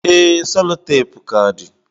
Ee, sellotape ka dị.